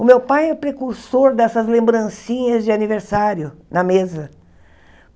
O meu pai é precursor dessas lembrancinhas de aniversário na mesa.